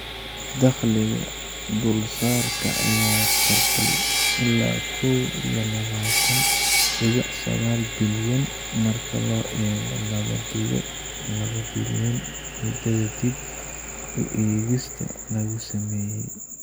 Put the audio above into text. Dakhliga dulsaarka ayaa kordhay ilaa kow iyo labatan dibic sagal bilyan marka loo eego laban dibic labo bilyan muddada dib u eegista lagu sameeyay.